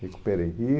Recuperei. E